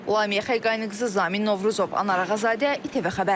Lamiyə Xəqaniqızı, Zamin Novruzov, Anar Ağazadə, ATV Xəbər.